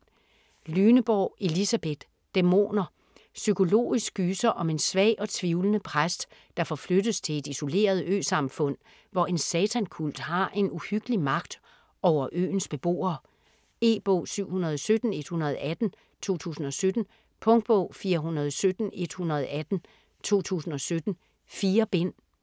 Lyneborg, Elisabeth: Dæmoner Psykologisk gyser om en svag og tvivlende præst, der forflyttes til et isoleret øsamfund, hvor en satankult har en uhyggelig magt over øens beboere. E-bog 717118 2017. Punktbog 417118 2017. 4 bind.